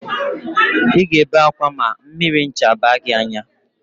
Ị ga-ebe ákwá ma mmiri ncha baa gị n'anya